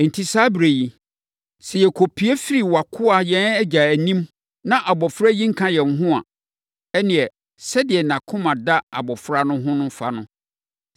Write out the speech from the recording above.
“Enti, saa ɛberɛ yi, sɛ yɛkɔpue firi wʼakoa, yɛn agya, anim na abɔfra yi nka yɛn ho a, ɛnneɛ, sɛdeɛ nʼakoma da abɔfra no ho fa no,